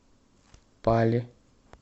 пали